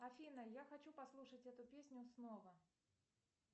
афина я хочу послушать эту песню снова